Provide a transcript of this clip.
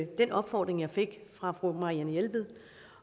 den opfordring jeg fik fra fru marianne jelved